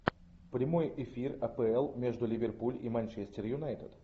прямой эфир апл между ливерпуль и манчестер юнайтед